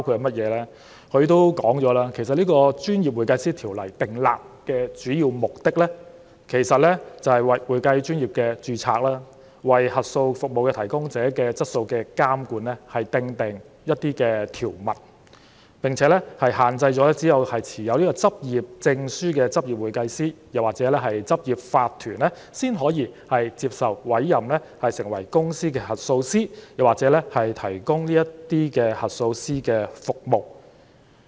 總會表示，《專業會計師條例》訂立的主要目的，是為會計專業註冊、為監管核數服務提供者的質素訂定條文，並限制只有持有執業證書的執業會計師或執業法團，才可以接受委任成為公司核數師或提供核數師的服務。